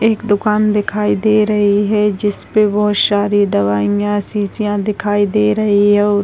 एक दुकान दिखाई दे रही है जिस पे बहुत सारी दवाइयां शीशियां दिखाई दे रही हैं और --